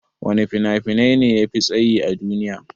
Wana fina-finai ne yafi tsayi a duniya?